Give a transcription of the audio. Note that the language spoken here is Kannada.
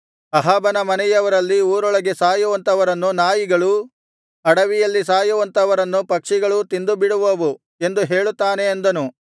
ಅಹಾಬನ ಮನೆಯವರಲ್ಲಿ ಊರೊಳಗೆ ಸಾಯುವಂಥವರನ್ನು ನಾಯಿಗಳೂ ಅಡವಿಯಲ್ಲಿ ಸಾಯುವಂಥವರನ್ನು ಪಕ್ಷಿಗಳೂ ತಿಂದು ಬಿಡುವವು ಎಂದು ಹೇಳುತ್ತಾನೆ ಅಂದನು